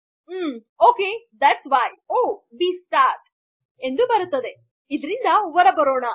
ಮ್ಸರಿ ಅದಕ್ಕೆ ಒ ಬಿ ಸ್ಟಾರ್ಟ್ ಇದರಿಂದ ಹೊರಬರೋಣ